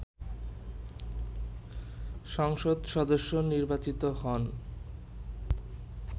সংসদ সদস্য নির্বাচিত হন